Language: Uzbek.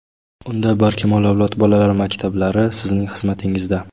Unda "Barkamol avlod" bolalar maktablari sizning xizmatingizda!.